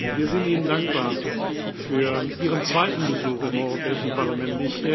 Wir sind Ihnen dankbar für Ihren zweiten Besuch im Europäischen Parlament.